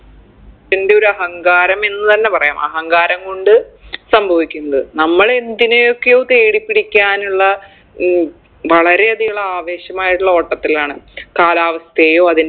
എൻറെയൊരു അഹങ്കാരം എന്ന് തന്നെ പറയാം അഹങ്കാരം കൊണ്ട് സംഭവിക്കുന്നത് നമ്മളെന്തിനെയൊക്കെയോ തേടി പിടിക്കാനുള്ള ഉം വളരെ അധികുള്ള ആവേശമായിട്ടുള്ളൊരു ഓട്ടത്തിലാണ് കാലാവസ്ഥയെയോ അതിൻറെ